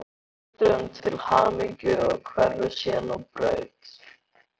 Hann óskar foreldrunum til hamingju og hverfur síðan á braut.